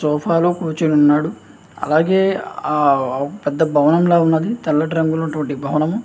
Sofa లో కూచి ఉన్నాడు అలాగే ఆహ్ పెద్ద భవనంలా ఉన్నది తెల్లటి రంగు భవనం.